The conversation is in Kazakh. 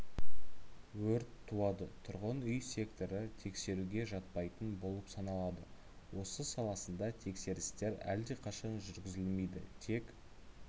өрт туады тұрғын үй секторы тексеруге жатпайтын болып саналады осы саласында тексерістер әлдеқашан жүргізілмейді тек